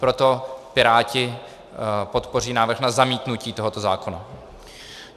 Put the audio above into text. Proto Piráti podpoří návrh na zamítnutí tohoto zákona.